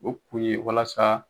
O kun ye walasa